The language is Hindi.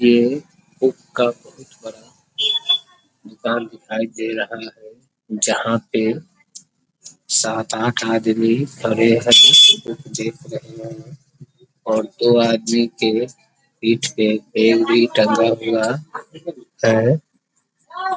ये बुक का बहुत बड़ा दुकान दिखाई दे रहा है जहां पे सात-आठ आदमी खड़े हैं बुक देख रहे हैं और दो आदमी के पीठ पे बैग भी टंगा हुआ है।